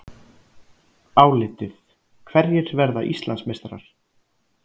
Álitið: Hverjir verða Íslandsmeistarar?